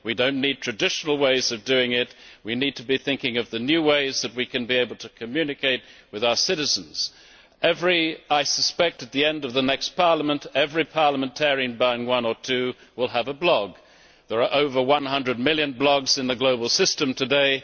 We do not need traditional ways of doing things we need to be thinking of the new ways in which we can communicate with our citizens. I suspect that by the end of the next Parliament every parliamentarian bar one or two will have a blog. There are over 100 million blogs in the global system today